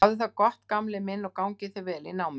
Hafðu það gott gamli minn og gangi þér vel í náminu.